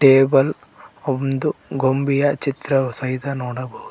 table ಒಂದು ಗೊಂಬಿಯ ಚಿತ್ರವಸಹಿತ ನೋಡಬಹು--